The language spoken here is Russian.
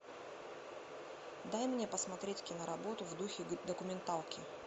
дай мне посмотреть киноработу в духе документалки